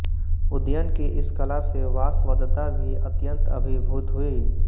उदयन की इस कला से वासवदत्ता भी अत्यन्त अभिभूत हुई